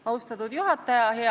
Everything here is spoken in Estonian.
Austatud juhataja!